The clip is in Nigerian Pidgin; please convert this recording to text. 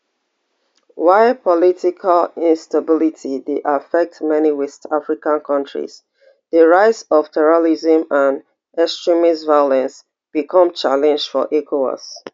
while political instability dey affect many west african kontris di rise of terrorism and extremist violence become challenge for ecowas